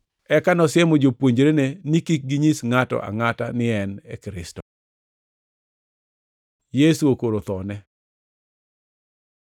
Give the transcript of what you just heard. Eka nosiemo jopuonjrene ni kik ginyis ngʼato angʼata ni ne en Kristo. Yesu okoro thone